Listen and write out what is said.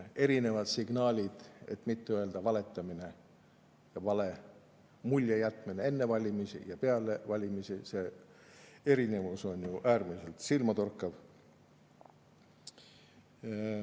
Erinevad signaalid, et mitte öelda valetamine ja vale mulje jätmine enne valimisi ja peale valimisi – erinevus on ju äärmiselt silmatorkav.